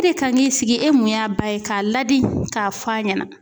E de kan k'i sigi e mun y'a ba ye k'a ladi k'a fɔ a ɲɛna